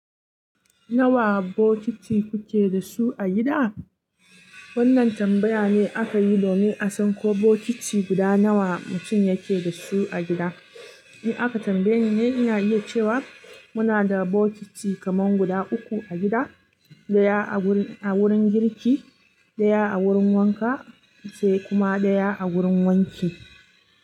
Nawa bokiti kuke da su a gida? Wannan tambaya ne aka yi domin a san ko bokiti guda nawa mutum yake da su a gida. In aka tambaye ni ne, ina iya cewa, muna da bokiti kaman guda uku a gida, ɗaya a wurin girki, ɗaya a wurin wanka, sai kuma ɗaya a wurin wanki.